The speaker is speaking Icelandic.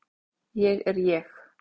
Ég er ég.